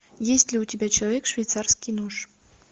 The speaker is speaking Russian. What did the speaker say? есть ли у тебя человек швейцарский нож